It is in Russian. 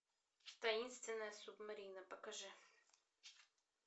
таинственная субмарина покажи